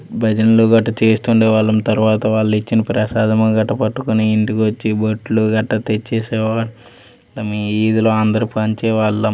భజనలు గట్టా చేస్తుండే వాళ్ళం తర్వాత వాళ్లు ఇచ్చిన ప్రసాదము గట్టా పట్టుకొని ఇంటికి వచ్చి బొట్లు గట్టా తెచ్చేసేవాళ్ళం. ఈదిలో అందరూ పంచేవాళ్ళం.